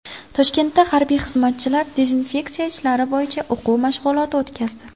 Toshkentda harbiy xizmatchilar dezinfeksiya ishlari bo‘yicha o‘quv mashg‘uloti o‘tkazdi .